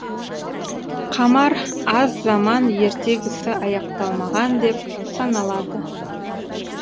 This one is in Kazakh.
камар аз заман ертегісі аяқталмаған деп саналады